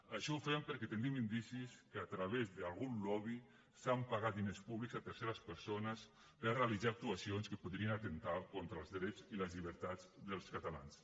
això ho fem perquè tenim indicis que a través d’algun lobby s’han pagat diners públics a terceres persones per realitzar actuacions que podrien atemptar contra els drets i les llibertats dels catalans